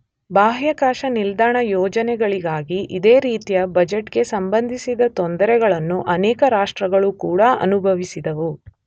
ಬಾಹ್ಯಾಕಾಶ ನಿಲ್ದಾಣ ಯೋಜನೆಗಳಿಗಾಗಿ ಇದೇ ರೀತಿಯ ಬಜೆಟ್ ಗೆ ಸಂಬಂಧಿಸಿದ ತೊಂದರೆಗಳನ್ನು ಅನೇಕ ರಾಷ್ಟ್ರಗಳು ಕೂಡ ಅನುಭವಿಸಿದವು.